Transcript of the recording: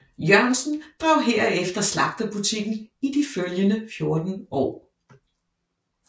Jørgensen drev herefter slagterbutikken i de følgende 14 år